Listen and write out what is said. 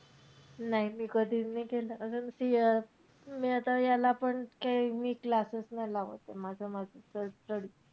नाही मी कधीच नाही केलं. अगं मी अं आता ह्याला पण काई मी classes नाही लावत. माझं-माझंच study.